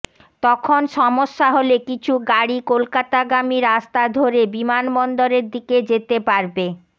তখন সমস্যা হলে কিছু গাড়ি কলকাতাগামী রাস্তা ধরে বিমানবন্দরের দিকে যেতে পারবে